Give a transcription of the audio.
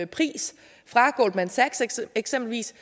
pris fra eksempelvis